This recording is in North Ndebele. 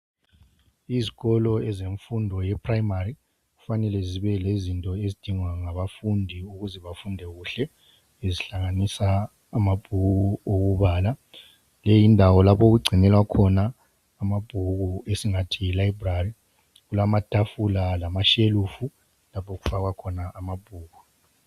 Izikolo zemfundo yephuremari kufanele zibe lezinto ezidingwa ngabafundi ukuze bafunde kuhle ezihlanganisa amabhuku okubala. Leyi yindawo okugcinelwa khona amabhuku esingathi yi"library" .Kulamatafula lamashelufu lapho okufakwa khona amabhuku.